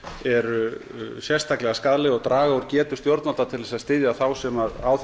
eru sérstaklega skaðleg og draga úr getu stjórnvalda til að styðja þá sem á